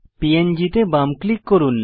প্যাং তে বাম ক্লিক করুন